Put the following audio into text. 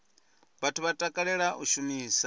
vhathu vha takalela u shumisa